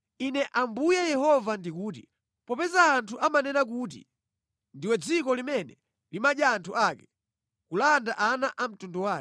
“Ine Ambuye Yehova ndikuti: Popeza anthu amanena kuti, ndiwe dziko limene limadya anthu ake ‘kulanda ana a mtundu wake,’